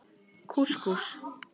Kús Kús.